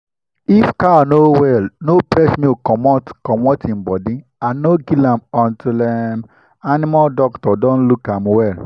if cow no well no press milk comot comot e body and no kill am until um animal doctor don look am well